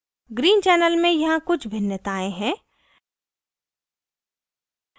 green channel में यहाँ कुछ भिन्नताएं हैं